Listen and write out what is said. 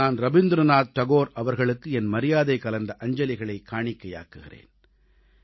நான் ரவீந்திரநாத் தாகூர் அவர்களுக்கு என் மரியாதை கலந்த அஞ்சலிகளைக் காணிக்கையாக்குகிறேன்